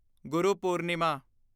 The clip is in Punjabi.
ਗੁਰੂ ਪੂਰਨਿਮਾ